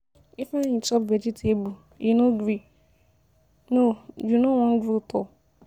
Ifeanyi chop vegetable, you no gree, no you no Wan grow tall.